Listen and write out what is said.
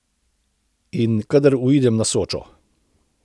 In kadar uidem na Sočo.